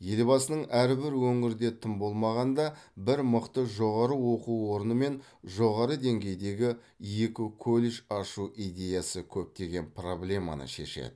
елбасының әрбір өңірде тым болмағанда бір мықты жоғары оқу орны мен жоғары деңгейдегі екі колледж ашу идеясы көптеген проблеманы шешеді